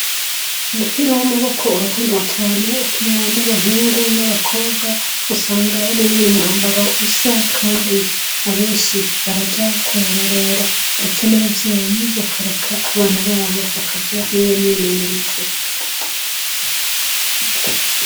Umupira w’amaboko urakundwa cane ukinwa n’abahungu n’abakobwa ,usanga Bari no mumwambaro usa ,kandi abenshi Baraja kuwurorera ndetse n’abavyeyi bakareka abana babo bakaja muriyo myimenyerezo.